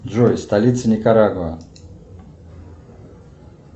джой столица никарагуа